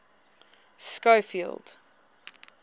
schofield